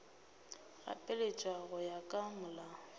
gapeletša go ya ka molao